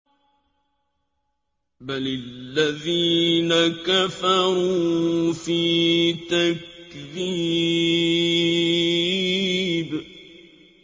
بَلِ الَّذِينَ كَفَرُوا فِي تَكْذِيبٍ